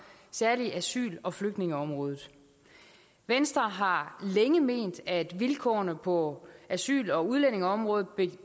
særlig asyl og flygtningeområdet venstre har længe ment at vilkårene på asyl og udlændingeområdet